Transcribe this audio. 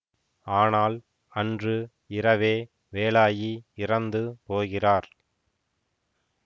ஆனால் அன்று இரவே வேலாயி இறந்து போகிறார்